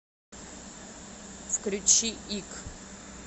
включи ик